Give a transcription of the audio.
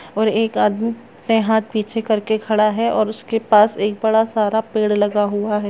--और एक आदमी ने हाथ पीछे करके खड़ा है और उसके पास एक बड़ा सारा पेड़ लगा हुआ है।